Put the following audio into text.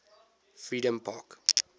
freedompark